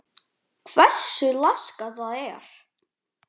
Hversu laskað það er?